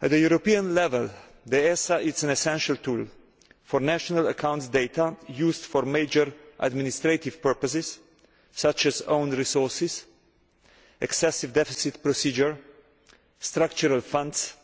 At a European level, the ESA is an essential tool for national accounts data used for major administrative purposes such as own resources, excessive deficit procedure and structural funds,